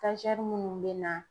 munnu bɛ na